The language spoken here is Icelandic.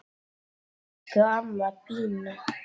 Elsku amma Binna.